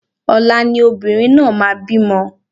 Ọ̀la ni obìnrin náà máa bí mo